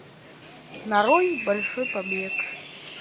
нарой большой побег